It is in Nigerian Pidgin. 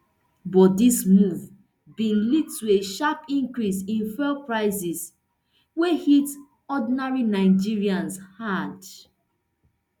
but dis move bin lead to a sharp increase in fuel prices wey hit ordinary nigerians hard